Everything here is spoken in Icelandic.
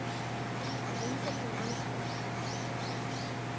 Einhver sem andar.